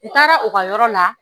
U taara u ka yɔrɔ na